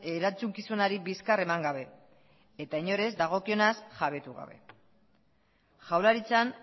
erantzukizunari bizkar eman gabe eta inor ez dagokionaz jabetu gabe jaurlaritzan